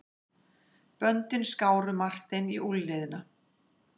Böndin skáru Martein í úlnliðina.